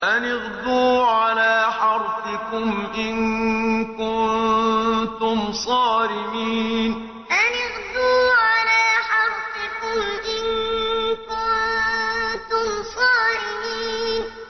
أَنِ اغْدُوا عَلَىٰ حَرْثِكُمْ إِن كُنتُمْ صَارِمِينَ أَنِ اغْدُوا عَلَىٰ حَرْثِكُمْ إِن كُنتُمْ صَارِمِينَ